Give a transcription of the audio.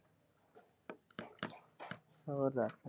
ਹੋਰ ਦਸ?